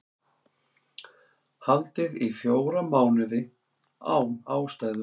Haldið í fjóra mánuði án ástæðu